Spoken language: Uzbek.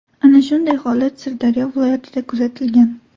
Ana shunday holat Sirdaryo viloyatida kuzatilgan.